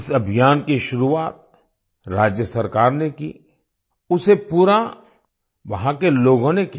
इस अभियान की शुरुआत राज्य सरकार ने की उसे पूरा वहाँ के लोगों ने किया